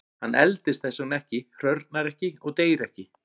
Hann eldist þess vegna ekki, hrörnar ekki og deyr ekki.